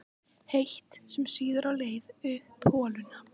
heitt, sem sýður á leið upp holuna.